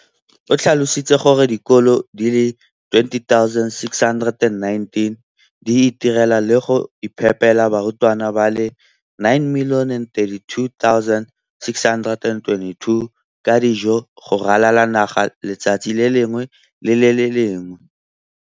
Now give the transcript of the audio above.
o tlhalositse gore dikolo di le 20 619 di itirela le go iphepela barutwana ba le 9 032 622 ka dijo go ralala naga letsatsi le lengwe le le lengwe.